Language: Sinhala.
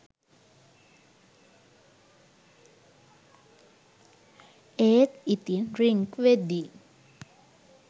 ඒත් ඉතින් රින්ග් වෙද්දි